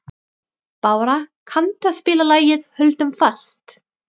Bára, kanntu að spila lagið „Höldum fast“?